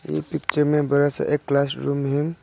ये पिक्चर में बड़ा सा एक क्लासरूम है।